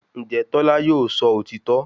Ǹjẹ́ Tọ́lá yóò sọ òtítọ́